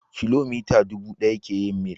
Kilomita dubu ɗaya ke yin mil.